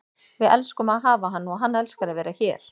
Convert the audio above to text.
Við elskum að hafa hann og hann elskar að vera hér.